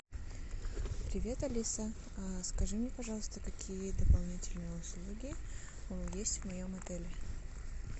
привет алиса скажи мне пожалуйста какие дополнительные услуги есть в моем отеле